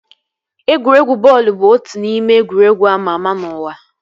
Egwuregwu bọọlụ bụ otu n'ime egwuregwu ama ama n'ụwa